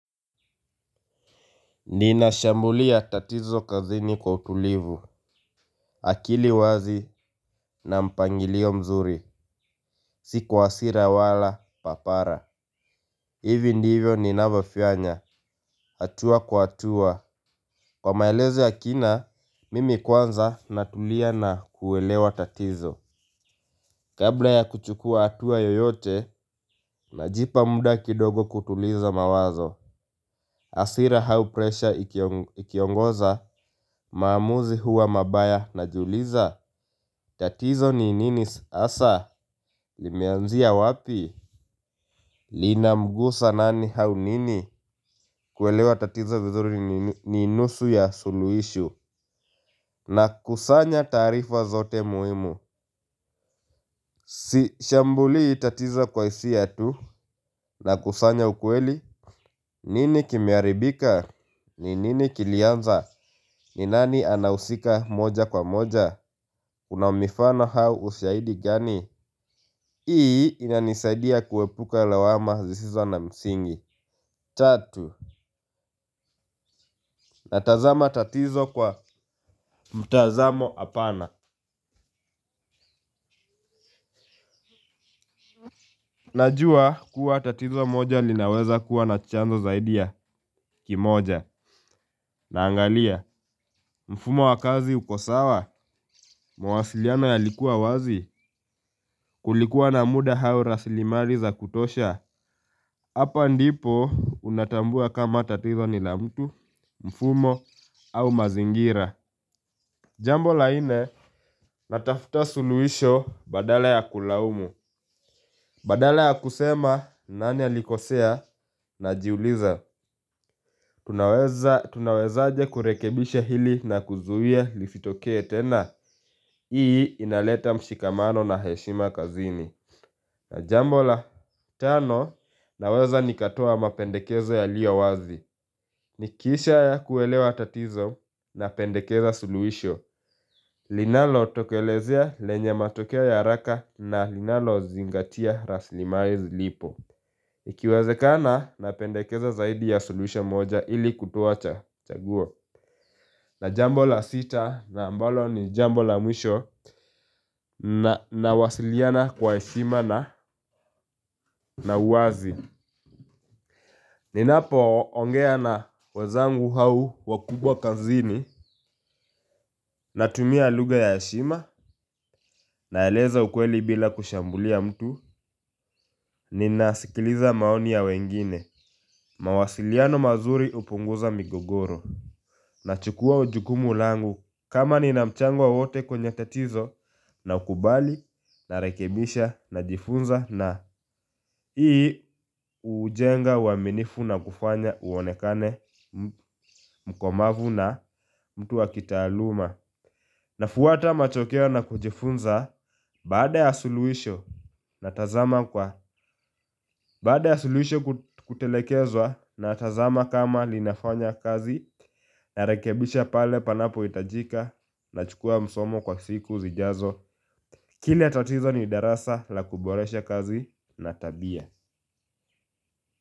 Ninashambulia tatizo kazini kwa utulivu, akili wazi na mpangilio mzuri, si kwa hasira wala papara. Hivi ndivyo ni navyofanya, hatua kwa hatua. Kwa maelezo ya kina, mimi kwanza natulia na kuelewa tatizo. Kabla ya kuchukua hatua yoyote, najipa muda kidogo kutuliza mawazo. Hasira au pressure ikiongoza, maamuzi huwa mabaya najiuliza. Tatizo ni nini hasa, limeanzia wapi. Linamgusa nani hau nini, kuelewa tatizo vizuri ni nusu ya suluhisho. Na kusanya taarifa zote muhimu. Sishambulii tatizo kwa hisia tu, na kusanya ukweli. Nini kimeharibika, ni nini kilianza, ni nani anahusika moja kwa moja kuna mifano au ushahidi gani. Hii inanisaidia kuepuka lawama zisizo na msingi! Tatu natazama tatizo kwa mtazamo apana. Najua kuwa tatizo moja linaweza kua na chanzo zaidi ya kimoja. Naangalia mfumo wa kazi uko sawa? Mwasiliano ya likuwa wazi? Kulikuwa na muda au rasilimali za kutosha? Hapa ndipo unatambua kama tatizo ni la mtu mfumo au mazingira. Jambo la nne natafuta suluhisho badala ya kulaumu. Badala ya kusema nani alikosea najiuliza. Tunawezaje kurekebisha hili na kuzuia lizitokee tena. Hii inaleta mshikamano na heshima kazini. Jambo la tano naweza nikatoa mapendekezo yaliyo wazi. Nikisha ya kuelewa tatizo napendekeza suluhisho. Linalo tokelezea lenya matokeo ya haraka na linalozingatia raslimali zilipo. Ikiwazekana napendekeza zaidi ya suluhisho moja ili kutoa chaguo. Na jambo la sita na mbalo ni jambo la mwisho nawasiliana kwa heshima na uwazi. Ninapoongea na wenzangu au wakubwa kazini natumia lugha ya heshima. Naeleza ukweli bila kushambulia mtu. Ninasikiliza maoni ya wengine. Mawasiliano mazuri hupunguza migogoro. Na chukua jukumu langu. Kama nina mchango wowote kwenye tatizo nakubali narekebisha najifunza na ii hujenga uaminifu na kufanya uonekane mkomavu na mtu wa kitaaluma. Nafuata matokeo na kujifunza. Baada ya suluhisho natazama kwa baada ya suluhishe kutekelezwa natazama kama linafanya kazi. Narekebisha pale panapohitajika, nachukua msomo kwa siku zijazo. Kila tatizo ni darasa la kuboresha kazi na tabia.